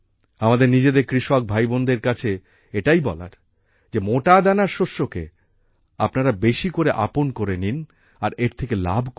আমাদের নিজেদের কৃষক ভাইবোনেদের কাছে এটাই বলার যে মোটাদানার শস্যকে আপনারা বেশি করে আপন করে নিন আর এর থেকে লাভ করুন